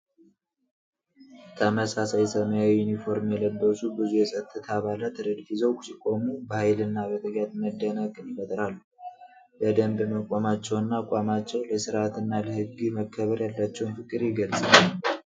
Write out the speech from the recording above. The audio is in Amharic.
ተመሳሳይ ሰማያዊ ዩኒፎርም የለበሱ ብዙ የጸጥታ አባላት ረድፍ ይዘው ሲቆሙ፣ በሀይልና በትጋት መደነቅን ይፈጥራሉ። በደንብ መቆማቸውና አቋማቸው፣ ለስርዓትና ለህግ መከበር ያላቸውን ፍቅር የገልጻል።